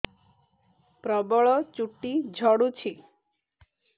ପ୍ରବଳ ଚୁଟି ଝଡୁଛି